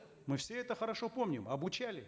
мы все это хорошо помним обучали